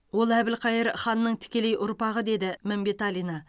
ол әбілқайыр ханның тікелей ұрпағы деді мәмбеталина